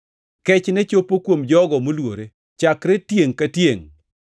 Kechne chopo kuom jogo moluore chakre tiengʼ ka tiengʼ.